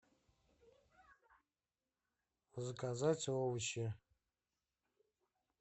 заказать овощи